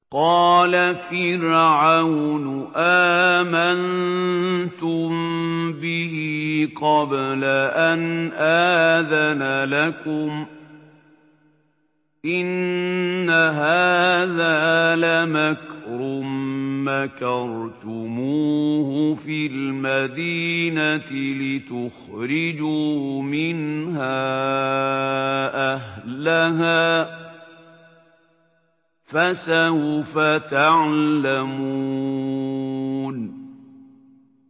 قَالَ فِرْعَوْنُ آمَنتُم بِهِ قَبْلَ أَنْ آذَنَ لَكُمْ ۖ إِنَّ هَٰذَا لَمَكْرٌ مَّكَرْتُمُوهُ فِي الْمَدِينَةِ لِتُخْرِجُوا مِنْهَا أَهْلَهَا ۖ فَسَوْفَ تَعْلَمُونَ